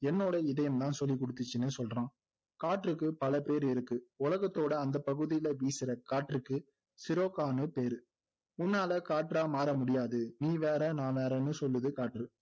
என்னோட இதயம்தான் சொல்லிகுடுத்துச்சுன்னு சொல்றான் காற்றுக்கு பல பேர் இருக்கு உலகத்தோட அந்த பகுதியில் வீசுற காற்றுக்கு சிரோகான்னு பேரு உன்னால காற்றா மாறமுடியாது நீ வேற நான் வேறன்னு சொல்லுது காற்று